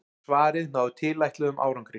Svarið náði tilætluðum árangri.